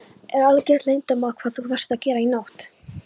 Er algert leyndarmál hvað þú varst að gera í nótt?